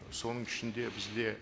соның ішінде бізде